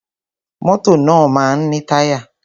Mọ́tọ̀ máa ń ní táyà.